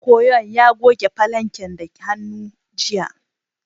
Ɗan koyon ya goge falanken da hannu, jiya.